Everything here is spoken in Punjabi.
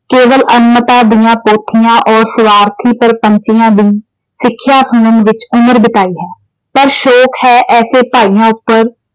ਕੇਵਲ ਅਗਿਆਨਤਾ ਦੀਆਂ ਪੋਥਿਆਂ ਔਰ ਸਵਾਰਥੀ ਦੀ ਸਿੱਖਿਆਂ ਸੁਣਨ ਵਿੱਚ ਉਮਰ ਬਿਤਾਈ ਹੈ। ਪਰ ਸ਼ੋਕ ਹੈ ਐਸੇ ਭਾਇਆਂ ਉੱਪਰ ।